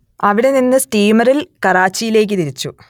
അവിടെനിന്ന് സ്റ്റീമറിൽ കറാച്ചിയിലേക്ക് തിരിച്ചു